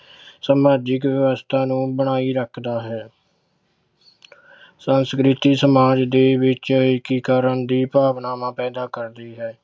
ਸਮਾਜਿਕ ਵਿਵਸਥਾ ਨੂੰ ਬਣਾਈ ਰੱਖਦਾ ਹੈ ਸੰਸਕ੍ਰਿਤੀ ਸਮਾਜ ਦੇ ਵਿੱਚ ਏਕੀਕਰਨ ਦੀ ਭਾਵਨਾਵਾਂ ਪੈਦਾ ਕਰਦੀ ਹੈ।